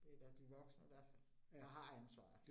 Det da de voksne, der der har ansvaret